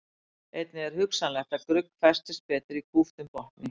Einnig er hugsanlegt að grugg festist betur í kúptum botni.